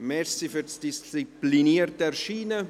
Danke für das disziplinierte Erscheinen.